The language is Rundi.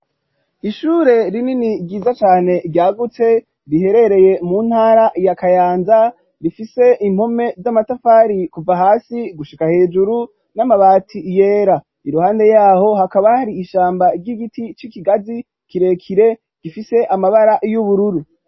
Ishure rinini, ryiza cane, ryagutse, riherereye mu ntara, ya Kayanza; rifise impome z'amatafari, kuva hasi gushika hejuru, n'amabati yera; iruhande y'aho, hakaba, hari ishamba ry'igiti, c'ikigazi kirekire, gifise amabara y'ubururu.